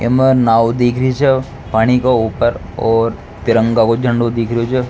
एमे नाव दिखरी छे पानी के ऊपर और तिरंगा का झंडाे दिखरियो छे।